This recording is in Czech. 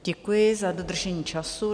Děkuji za dodržení času.